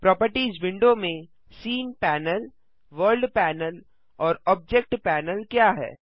properties window में scene panel world panel और object panel क्या हैं